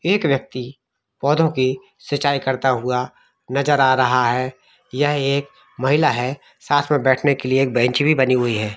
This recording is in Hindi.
एक व्यक्ति पौधो की सिचाई करता हुआ नजर आ रहा है यह एक महिला है साथ में बैठ के लिए एक बेंच भी बानी हुई है।